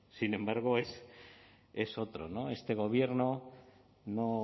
sin embargo es otro no este gobierno no